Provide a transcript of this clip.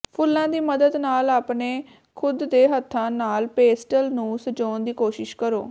ਫੁੱਲਾਂ ਦੀ ਮਦਦ ਨਾਲ ਆਪਣੇ ਖੁਦ ਦੇ ਹੱਥਾਂ ਨਾਲ ਪੇਸਟਲ ਨੂੰ ਸਜਾਉਣ ਦੀ ਕੋਸ਼ਿਸ਼ ਕਰੋ